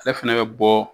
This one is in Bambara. Ale fɛnɛ bɛ bɔ